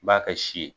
N b'a kɛ si ye